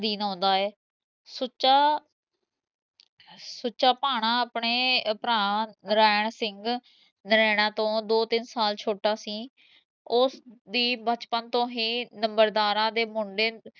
ਅਧੀਨ ਆਉਂਦਾ ਐ ਸੁੱਚਾ ਭਾਣਾ ਆਪਣੇ ਭਰ ਨਰੈਣ ਸਿੰਘ, ਨਰੈਣਾ ਤੋਂ ਦੋ ਤਿੰਨ ਸਾਲ ਛੋਟਾ ਸੀ, ਓਸ ਦੀ ਬਚਪਨ ਤੋਂ ਹੀਂ ਨੰਬਰਦਾਰਾਂ ਮੁੰਡੇ